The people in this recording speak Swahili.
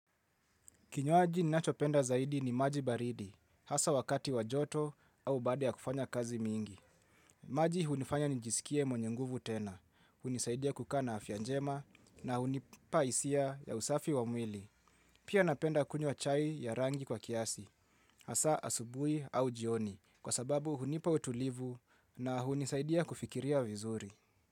Kinywaji ninachopenda zaidi ni maji baridi, hasa wakati wajoto au baade ya kufanya kazi mingi. Maji hunifanya nijisikie mwenyenguvu tena, hunisaidia kukaa na afyanjema na hunipahisia ya usafi wamwili. Pia napenda kunywa chai ya rangi kwa kiasi, hasa asubui au jioni, kwa sababu hunipa utulivu na hunisaidia kufikiria vizuri.